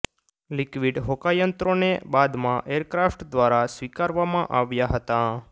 liquid હોકાયંત્રોને બાદમાં aircraft દ્વારા સ્વીકારવામાં આવ્યા હતા